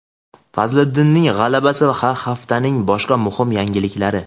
Fazliddinning g‘alabasi va haftaning boshqa muhim yangiliklari.